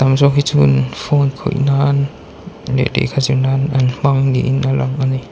phone khawihna'an leh lehkha zirna'an an hmang niin a lang a ni.